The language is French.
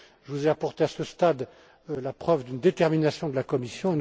Je vous ai apporté à ce stade la preuve d'une détermination de la Commission.